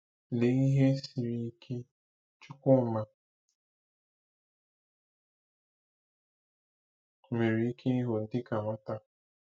Lee ihe siri ike Chukwuma nwere ike ịhụ dịka nwata!